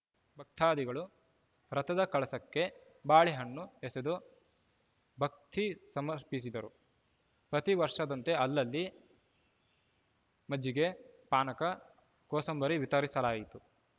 ಭಕ್ತಾದಿಗಳು ರಥದ ಕಳಸಕ್ಕೆ ಬಾಳೆ ಹಣ್ಣು ಎಸೆದು ಭಕ್ತಿ ಸಮರ್ಪಿಸಿದರು ಪ್ರತಿವರ್ಷದಂತೆ ಅಲ್ಲಲ್ಲಿ ಮಜ್ಜಿಗೆ ಪಾನಕ ಕೋಸಂಬರಿ ವಿತರಿಸಲಾಯಿತು